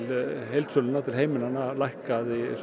heildsölunnar til heimilanna að lækka